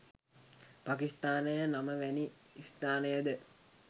පකිස්ථානය නම වැනි ස්ථානයද